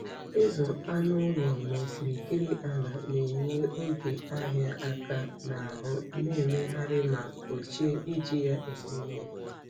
Ịzụ anụ ụlọ n'okirikiri ala na-enye oge ịhịa aka n'ahụ na-emegharị ma gbochie iji ya eme ihe.